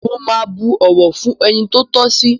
Mo máa bu ọ̀wọ̀ fún ẹni tó tọ́ sí.